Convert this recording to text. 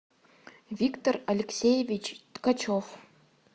виктор алексеевич ткачев